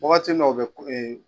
Wagati min na u bɛ